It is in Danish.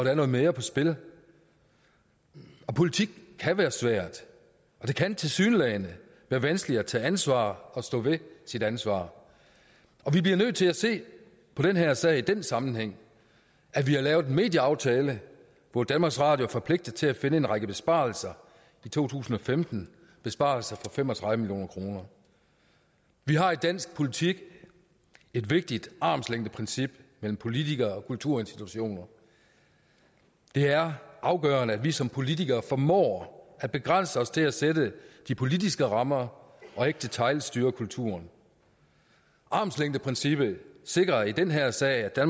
er noget mere på spil politik kan være svært og det kan tilsyneladende være vanskeligt at tage ansvar og stå ved sit ansvar vi bliver nødt til at se på den her sag i den sammenhæng at vi har lavet en medieaftale hvor danmarks radio er forpligtet til at finde en række besparelser i to tusind og femten besparelser for fem og tredive million kroner vi har i dansk politik et vigtigt armslængdeprincip mellem politikere og kulturinstitutioner det er afgørende at vi som politikere formår at begrænse os til at sætte de politiske rammer og ikke detailstyre kulturen armslængdeprincippet sikrer i den her sag at